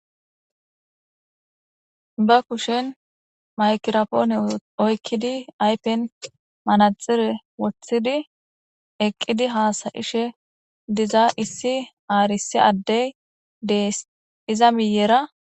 Ba kushen maykirapoone oykkidi aypen manaxire wothidi eqqidi hasayishe diza issi aarisi addey deess iza miyera